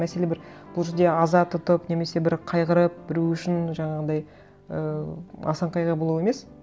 мәселе бір бұл жерде аза тұтып немесе бір қайғырып біреу үшін жаңағындай і асан қайғы болу емес